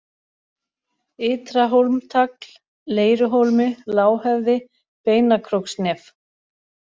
Ytra-Hólmtagl, Leiruhólmi, Lághöfði, Beinakróksnef